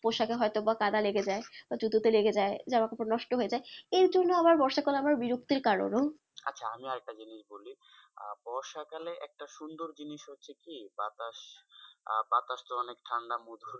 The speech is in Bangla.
পোশাকে হয়তো বা কাদা লেগেযাই বা জুতোতে লাগে যাই জামাকাপড় নষ্ট হয়েযায় এইজন্য আবার বর্ষাকাল আমার বিরক্তির কারণও আচ্ছা আরেকটা জিনিস বলি আহ বর্ষাকালে একটা সুন্দর জিনিস হচ্ছে কি বাতাস আহ বাতাসতো অনেক ঠান্ডা মধুর